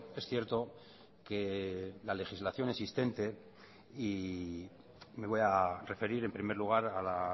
es cierto que la legislación existente y me voy a referir en primer lugar a la